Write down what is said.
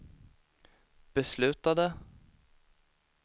beslutade